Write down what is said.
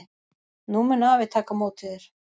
Nú mun afi taka á móti þér.